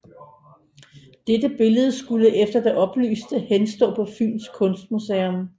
Dette billede skulle efter det oplyste henstå på Fyns Kunstmuseum